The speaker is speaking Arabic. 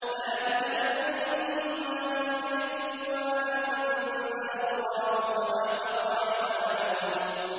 ذَٰلِكَ بِأَنَّهُمْ كَرِهُوا مَا أَنزَلَ اللَّهُ فَأَحْبَطَ أَعْمَالَهُمْ